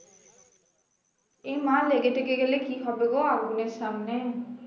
এমা লেগে টেগে গেলে কি হবে গো আগুনের সামনে